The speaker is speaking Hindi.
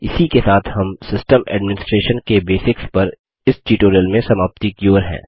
इसी के साथ हम सिस्टम एडमिनिसट्रेशन के बेसिक्स पर इस ट्यूटोरियल में समाप्ति की ओर हैं